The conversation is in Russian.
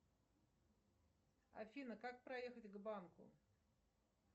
афина как проехать к банку